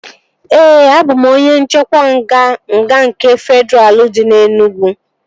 Ee, a bụ m onye nchekwa nga nke nga Fedraa dị na Enugwu